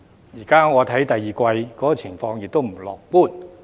現時我看到第二季的情況亦不樂觀。